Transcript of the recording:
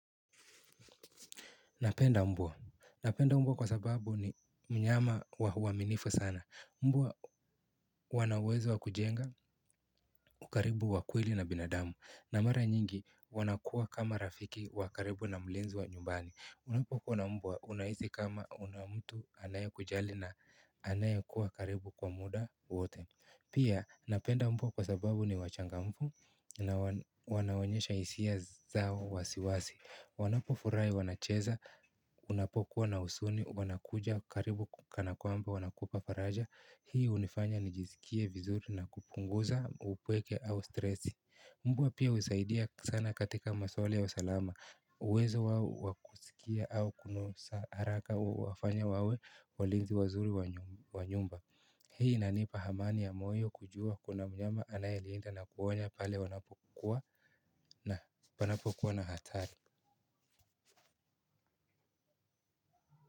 Napenda mbwa. Napenda mbwa kwa sababu ni mnyama huwa mwaminifu sana. Mbwa wanauwezo wa kujenga ukaribu wa kweli na binadamu. Na mara nyingi wanakuwa kama rafiki wa karibu na mlinzi wa nyumbani. Unapokuwa na mbwa unahisi kama kuna mtu anayekujali na anayekuwa karibu kwa muda wote. Pia napenda mbwa kwa sababu ni wachangamfu na wanaonyesha hisia zao wazi wazi. Wanapofurahi wanacheza, unapokuwa na huzuni, wanakuja karibu kana kwamba wanakupa faraja. Hii hunifanya nijisikie vizuri na kupunguza, upweke au stresi. Mbwa pia husaidia sana katika maswala ya usalama. Uwezo wao wa kusikia au kunusa haraka huwafanya wawe walinzi wazuri wa nyumba. Hii inanipa amani ya moyo kujua kuna mnyama anayelinda na kuwonya pale wanapokuwa na hatari. Kwa hivyo.